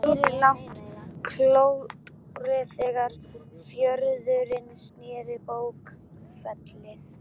Batahorfur sjúklinga með lungnakrabbamein eru ekki góðar.